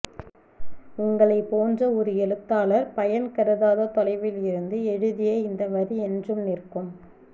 உங்களைப்போன்ற ஒரு எழுத்தாளர் பயன்கருதாத தொலைவில் இருந்து எழுதிய இந்த வரி என்றும் நிற்கும்